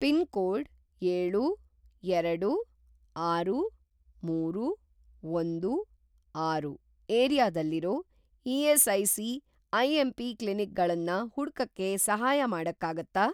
Pin code ಏಳು, ಎರಡು, ಆರು, ಮೂರು, ಒಂದು, ಆರು ಏರಿಯಾದಲ್ಲಿರೋ ಇ.ಎಸ್.ಐ.ಸಿ. ಐ.ಎಂ.ಪಿ. ಕ್ಲಿನಿಕ್ ಗಳನ್ನ ಹುಡ್ಕಕ್ಕೆ ಸಹಾಯ ಮಾಡಕ್ಕಾಗತ್ತಾ?